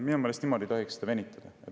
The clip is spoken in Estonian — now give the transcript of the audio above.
Minu meelest ei tohiks seda niimoodi venitada.